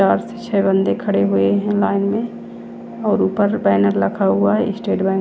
चार से छे बंदे खड़े हुए है लाइन में और ऊपर बैनर लखा हुआ है स्टेट बैंक --